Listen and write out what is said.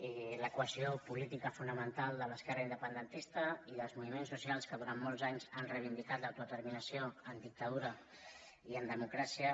i l’equació política fonamental de l’esquerra independentista i dels moviments socials que durant molts anys han reivindicat l’autodeterminació en dictadura i en democràcia